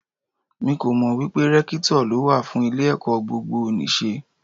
Mi kò mọ̀ wípé Rẹ́kítọ̀ ló wà fún ilé ẹ̀kọ́ gbogbo nì ṣe.